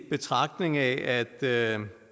gymnasiale